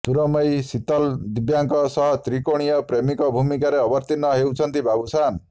ସୁରମୟୀ ଶିତଲ ଦିବ୍ୟାଙ୍କ ସହ ତ୍ରିକୋଣୀୟ ପ୍ରେମିକ ଭୂମିକାରେ ଅବତୀର୍ଣ୍ଣ ହେଉଛନ୍ତି ବାବୁସାନ୍